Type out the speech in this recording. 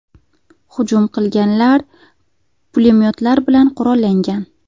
Hujum qilganlar pulemyotlar bilan qurollangan.